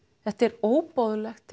þetta er óboðlegt